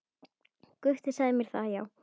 Gutti sagði mér það, já.